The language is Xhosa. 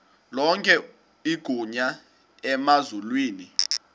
lonke igunya emazulwini